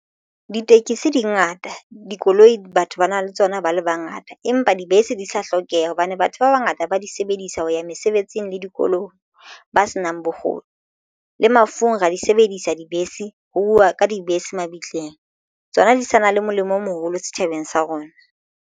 Ditekesi dingata dikoloi Batho ba na le tsona ba le bangata empa dibese di sa hlokeha hobane batho ba bangata ba di sebedisa ho ya mesebetsing le dikoloi ba senang bokgoni le mafung ra di sebedisa dibese ho uwa ka dibese mabitleng tsona di sa na le molemo o moholo setjhabeng sa rona.